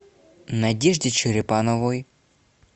надежде черепановой